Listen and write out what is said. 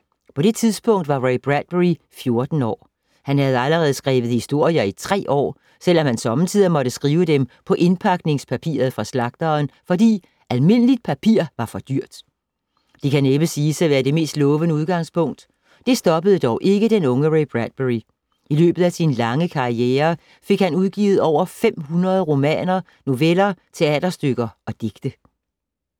På det tidspunkt var Ray Bradbury 14 år. Han havde allerede skrevet historier i tre år, selvom han sommetider måtte skrive dem på indpakningspapir fra slagteren, fordi almindeligt papir var for dyrt. Det kan næppe siges at være det mest lovende udgangspunkt. Det stoppede dog ikke den unge Ray Bradbury. I løbet af sin lange karriere fik han udgivet over 500 romaner, noveller, teaterstykker og digte.